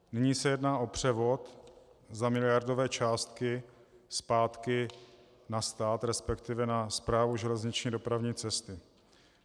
Nyní se jedná o převod za miliardové částky zpátky na stát, respektive na Správu železniční dopravní cesty.